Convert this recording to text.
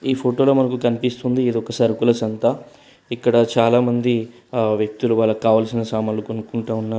ఈ ఫోటోలో మనకు కనిపిస్తుంది ఇది ఒక సరుకుల సంత ఇక్కడ చాలామంది ఆ వ్యక్తులు వాళ్ళకి కావాల్సిన సామాన్లు కొనుక్కుంటా ఉన్నారు.